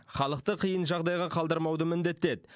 халықты қиын жағдайға қалдырмауды міндеттеді